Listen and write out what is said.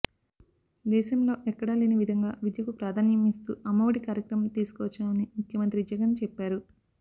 దేశంలో ఎక్కడ లేని విదంగా విద్యకు ప్రాదాన్యం ఇస్తూ అమ్మ ఒడి కార్యక్రమం తీసుకు వచ్చామని ముఖ్యమంత్రి జగన్ చెప్పారు